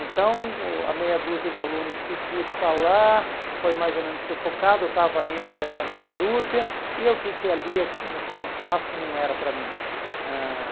Então, o a meia dúzia de alunos que quis falar foi mais ou menos sufocada, eu estava entre essa meia dúzia e eu vi que ali, ah aquele espaço não era para mim. Ãh